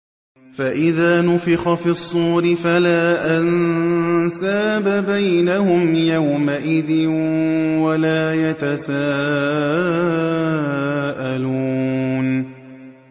فَإِذَا نُفِخَ فِي الصُّورِ فَلَا أَنسَابَ بَيْنَهُمْ يَوْمَئِذٍ وَلَا يَتَسَاءَلُونَ